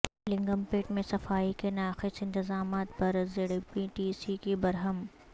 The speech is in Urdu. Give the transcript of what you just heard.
لنگم پیٹ میں صفائی کے ناقص انتظامات پر زیڈپی ٹی سی کی برہمی